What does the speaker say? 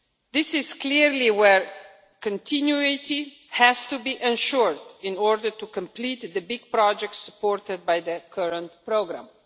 This is clearly where continuity has to be ensured in order to complete the big projects supported by the current programme.